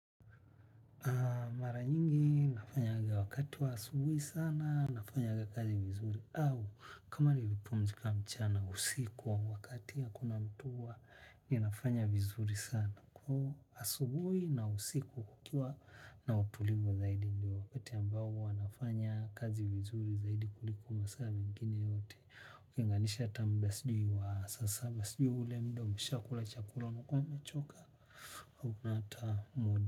Mara nyingi nafanyanga wakati wa asubui sana nafanyanga kazi vizuri au kama nimepumzika mchana usiku au wakati hakuna ninafanya vizuri sana. Kwa asubui na usiku hukuwa na utulivu zaidi ndio. Kati ambao huwa nafanya kazi vizuri zaidi kuliko masaa mengine yote. Ukinganisha tambasijui wa sasa basijui ule mdo mshakula chakula nukome choka au unata modu.